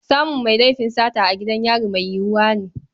Samun mai laifin sata a gidan yari mai yiwuwa ne.